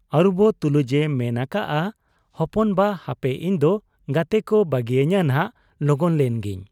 ᱟᱹᱨᱩᱵᱚᱜ ᱛᱩᱞᱩᱡ ᱮ ᱢᱮᱱ ᱟᱠᱟᱜ ᱟ, 'ᱦᱚᱯᱚᱱᱵᱟ ! ᱦᱟᱯᱮ ᱤᱧᱫᱚ ᱜᱟᱛᱮᱠᱚ ᱵᱟᱹᱜᱤ ᱟᱹᱧ ᱱᱷᱟᱜ, ᱞᱚᱜᱚᱱ ᱞᱮᱱ ᱜᱮᱧ ᱾'